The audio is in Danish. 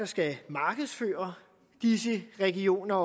skal markedsføre disse regioner